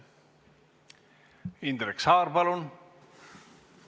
Indrek Saar, palun!